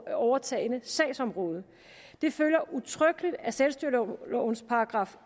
overtagne sagsområde det følger udtrykkeligt af selvstyrelovens §